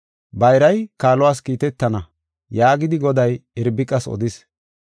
“Bayray kaaluwas kiitetana” yaagidi Goday Irbiqas odis.